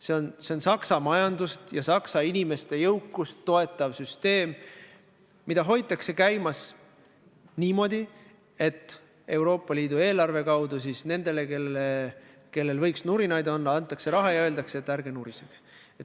See on Saksamaa majandust ja inimeste jõukust toetav süsteem, mida hoitakse käimas niimoodi, et Euroopa Liidu eelarve kaudu antakse nendele, kellel võiks nurinaid olla, raha ja öeldakse, et ärge nurisege.